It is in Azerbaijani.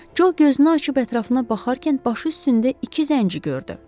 Co gözünü açıb ətrafına baxarkən başı üstündə iki zənci gördü.